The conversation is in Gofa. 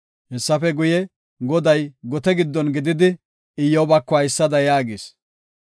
Hessafe guye, Goday gote giddon giddon gididi Iyyobako haysada yaagis.